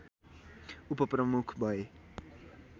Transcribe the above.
उपप्रमुख भए